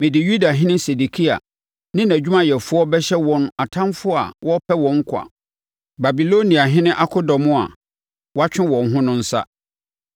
“Mede Yudahene Sedekia ne nʼadwumayɛfoɔ bɛhyɛ wɔn atamfoɔ a wɔrepɛ wɔn nkwa, Babiloniahene akodɔm a wɔatwe wɔn ho no nsa.